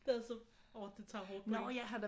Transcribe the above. Det er så åh det tager hårdt på en